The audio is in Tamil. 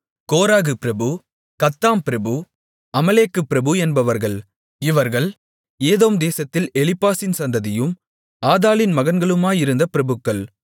கோராகு பிரபு கத்தாம் பிரபு அமலேக்கு பிரபு என்பவர்கள் இவர்கள் ஏதோம் தேசத்தில் எலிப்பாசின் சந்ததியும் ஆதாளின் மகன்களுமாயிருந்த பிரபுக்கள்